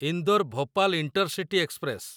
Indore Bhopal intercity express